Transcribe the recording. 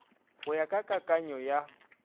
go ya ka kakanyo ya